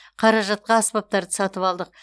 қаражатқа аспаптарды сатып алдық